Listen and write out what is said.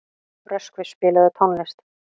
Röskvi, spilaðu tónlist.